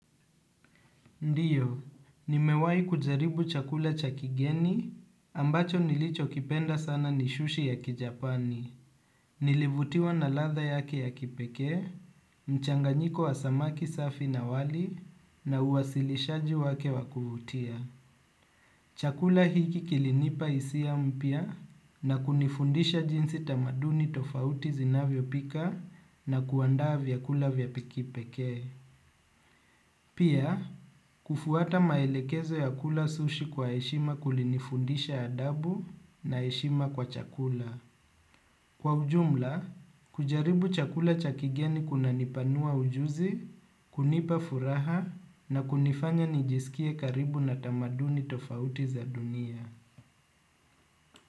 Ndiyo, nimewai kujaribu chakula cha kigeni ambacho nilichokipenda sana ni sushi ya kijapani. Nilivutiwa na ladha yake ya kipekee, mchanganyiko wa samaki safi na wali na uwasilishaji wake wa kuvutia. Chakula hiki kilinipa hisia mpya na kunifundisha jinsi tamaduni tofauti zinavyopika na kuandaa vyakula vya kipekee. Pia, kufuata maelekezo ya kula sushi kwa heshima kulinifundisha adabu na heshima kwa chakula. Kwa ujumla, kujaribu chakula cha kigeni kunanipanua ujuzi, kunipa furaha na kunifanya nijisikie karibu na tamaduni tofauti za dunia.